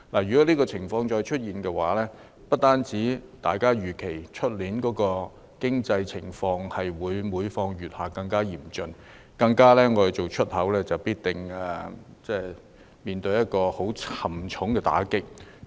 如果出現這種情況，預期明年的經濟情況會更嚴峻，而從事出口的企業更必定面對很沉重的打擊。